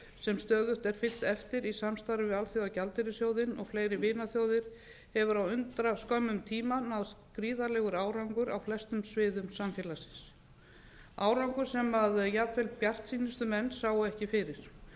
sem stöðugt er fylgt eftir í samstarfi við alþjóðagjaldeyrissjóðinn og fleiri vinaþjóðir hefur á undraskömmum koma náðst gríðarlegur árangur á flestum sviðum samfélagsins árangur sem jafnvel bjartsýnustu menn sáu ekki fyrir